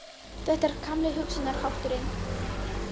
Þetta er gamli hugsunarhátturinn